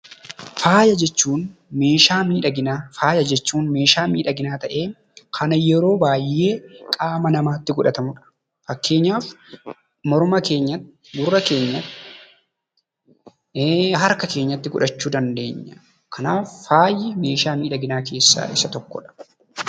Faaya jechuun meeshaa miidhaginaa ta'ee kan yeroo baay'ee qaama namaatti godhatudha. Fakkeenyaaf morma keenyatti, gurra keenyatti, harka keenyatti godhachuu dandeenya. Kanaaf, faayi meeshaa miidhaginaa keessaa isa tokkodha.